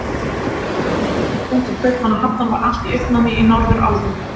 Þegar Drottningin kom til Kaupmannahafnar, var allt í uppnámi í Norðurálfu.